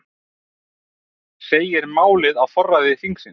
Segir málið á forræði þingsins